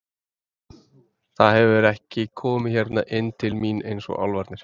Það hefur ekki komið hérna inn til mín eins og álfarnir.